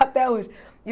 Até hoje.